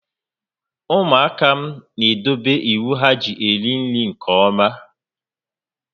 Ụmụaka m n'edobe iwu ha ji eri nri nke ọma